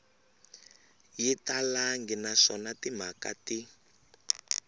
yi talangi naswona timhaka ti